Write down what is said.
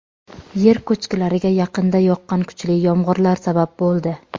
Yer ko‘chkilariga yaqinda yoqqan kuchli yomg‘irlar sabab bo‘ldi.